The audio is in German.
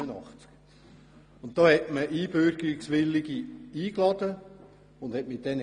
Damals wurden Einbürgerungswillige eingeladen und man sprach mit ihnen.